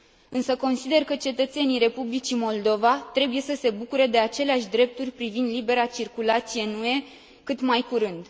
Însă consider că cetățenii Republicii Moldova trebuie să se bucure de aceleași drepturi privind libera circulație în UE cât mai curând.